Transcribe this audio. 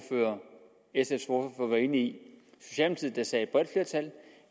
et så det skal